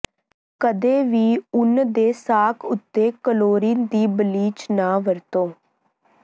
ਕਦੇ ਵੀ ਉੱਨ ਦੇ ਸਾਕ ਉੱਤੇ ਕਲੋਰੀਨ ਦੀ ਬਲੀਚ ਨਾ ਵਰਤੋ